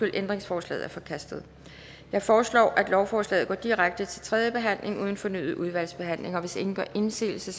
ændringsforslaget er forkastet jeg foreslår at lovforslaget går direkte til tredje behandling uden fornyet udvalgsbehandling hvis ingen gør indsigelse